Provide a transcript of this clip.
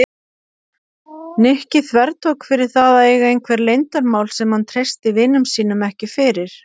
Nikki þvertók fyrir það að eiga einhver leyndarmál sem hann treysti vinum sínum ekki fyrir.